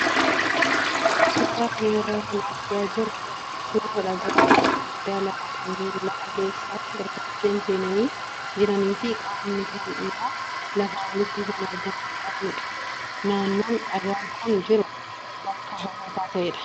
Suuraa kana irraa kan argaa jirru suuraa dhagaawwan gurguddaa lama kanneen lafa keessa gartokkeen seenanii jiranii fi qaamni kaan immoo lafaa olitti kan argamu qabanidha. Naannoon dhagaan kun jiru bakka hawwataa ta'edha.